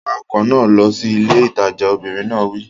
Wa ọkọ̀ náà lọ sí ilé ìtajà! Obìnrin náà wí.